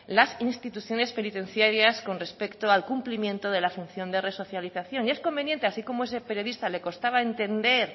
las instituciones penitenciarias con respecto al cumplimiento de la función de resocialización y es conveniente así como ese periodista le costaba entender